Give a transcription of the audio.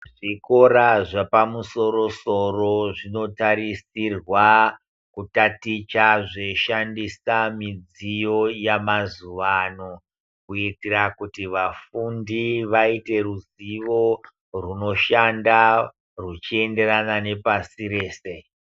Zvikora zvepamusoro zvinotarisirwa kutaticha zveishandisa midziyo yamazuwano kuitira kuti vafundi vaite ruzivo rwunoshanda rwuchienderana nepasi rese.